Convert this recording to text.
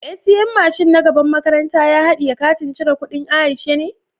" ATM" mashin na gaban makarantan ya hadiye Katin cire kudin Aisha ne?